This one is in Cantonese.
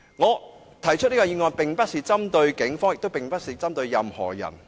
我動議的議案並非針對警方，也不是針對任何人。